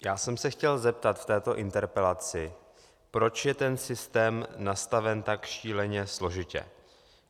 Já jsem se chtěl zeptat v této interpelaci, proč je ten systém nastaven tak šíleně složitě.